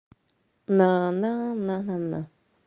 на на на на на